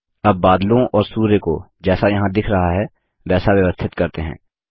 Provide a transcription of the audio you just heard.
अब बादलों और सूर्य को जैसा यहाँ दिख रहा है वैसा व्यवस्थित करते हैं